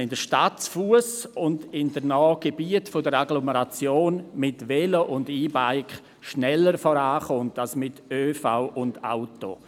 In der Stadt und in gewissen Gebieten in der Agglomeration kommt man zu Fuss, mit dem Velo oder mit E-Bikes schneller voran als mit ÖV und Auto.